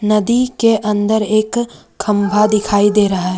नदी के अंदर एक खंभा दिखाई दे रहा है।